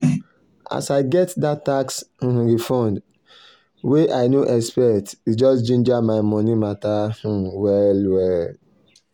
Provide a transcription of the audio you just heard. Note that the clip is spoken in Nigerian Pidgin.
as i get that tax um refund wey um i no expect e just ginger my money matter um well-well.